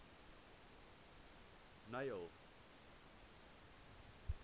neil